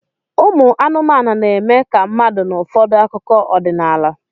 Ụmụ anụmanụ na-eme ka mmadụ n'ụfọdụ akụkọ ọdịnala